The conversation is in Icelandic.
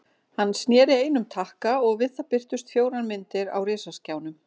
Hann sneri einum takka og við það birtust fjórar myndir á risaskjánum.